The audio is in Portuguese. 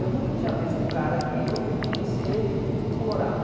Eu nunca tinha visto o cara aqui, eu fui conhecer ele em no Colorado.